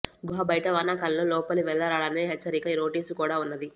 గుహ బయట వానాకాలంలో లోపలి వేల్లరాడనే ఎచ్చరిక నోటిసు కుడా వున్నది